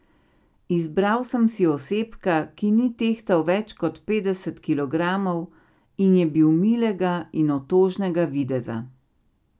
Izbral sem si osebka, ki ni tehtal več kot petdeset kilogramov in je bil milega in otožnega videza.